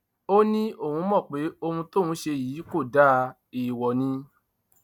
ó ní òun mọ pé ohun tóun ṣe yìí kò dáa èèwọ ni